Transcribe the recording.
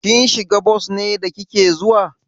Kin shiga bos ne da kike zuwa?